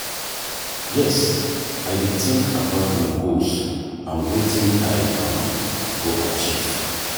yes, i dey think about my goals and wetin i um go achieve.